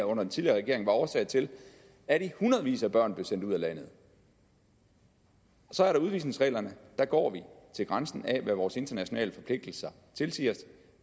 under den tidligere regering var årsag til at hundredvis af børn blev sendt ud af landet så er der udvisningsreglerne der går vi til grænsen af hvad vores internationale forpligtelser tilsiger